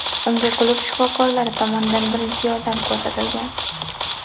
Unga klub shifokorlari tomonidan birinchi yordam ko‘rsatilgan.